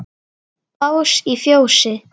Bás í fjósi?